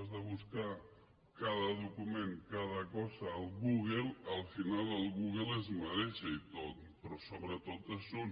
has de buscar cada document cada cosa al google al final el google es mareja i tot però sobretot és un